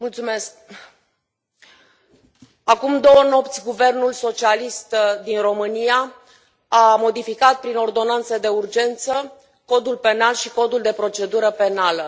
Domnule președinte, acum două nopți, guvernul socialist din România a modificat, prin ordonanță de urgență, Codul penal și Codul de procedură penală.